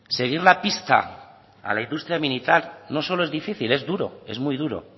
seguir la pista a la industria militar no solo es difícil es duro es muy duro